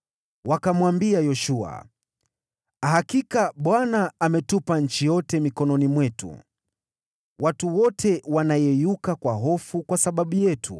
Wakamwambia Yoshua, “Hakika Bwana ametupa nchi yote mikononi mwetu; watu wote wanayeyuka kwa hofu kwa sababu yetu.”